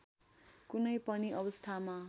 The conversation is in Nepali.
कुनै पनि अवस्थामा